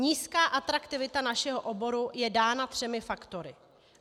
Nízká atraktivita našeho oboru je dána třemi faktory.